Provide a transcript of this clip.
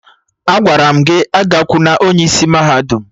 Agwara m gị agakwuna onye isi mahadum!